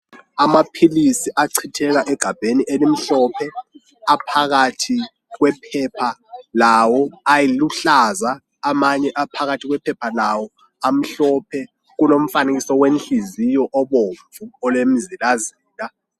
Amapilisi acitheka egabheni elimhlophe aphakathi kwephepha lawo, ayiluhlaza, amanye aphakathi kwephepha lawo amhlophe. Kulo mfakiso wenhliziyo obomvu olemzila zila.